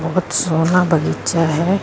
ਬਹੁਤ ਸੋਹਣਾ ਬਗੀਚਾ ਹੈ।